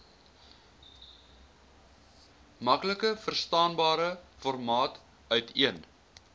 maklikverstaanbare formaat uiteen